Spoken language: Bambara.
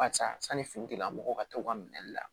Ka ca sanni fini tigilamɔgɔw ka taa u ka minɛli la